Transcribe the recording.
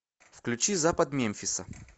включи запад мемфиса